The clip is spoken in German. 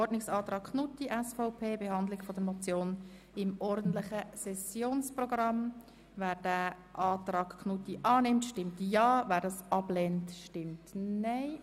Wer den Ordnungsantrag Knutti annehmen will, stimmt Ja, wer diesen ablehnt, stimmt Nein.